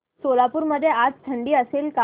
सोलापूर मध्ये आज थंडी असेल का